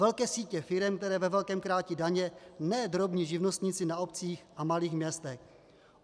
Velké sítě firem, které ve velkém krátí daně, ne drobní živnostníci na obcích a malých městech.